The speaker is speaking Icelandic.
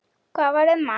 Hvað varð um hann?